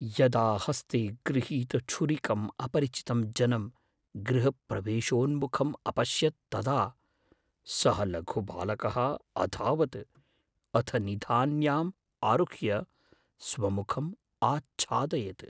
यदा हस्ते गृहीतछुरिकं अपरिचितं जनं गृहप्रवेशोन्मुखम् अपश्यत् तदा सः लघु बालकः अधावत्, अथ निधान्याम् आरुह्य स्वमुखम् आच्छादयत्।